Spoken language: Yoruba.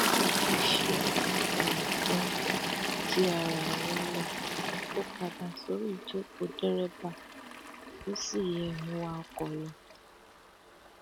nígbà tó ṣe um tán tí ara ẹ wálẹ ó padà sorí ìjókòó dẹrẹbà ó sì um ń wa ọkọ lọ